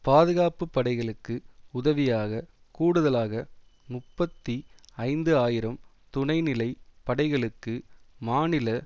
பாதுகாப்பு படைகளுக்கு உதவியாக கூடுதலாக முப்பத்தி ஐந்து ஆயிரம் துணைநிலை படைகளுக்கு மாநில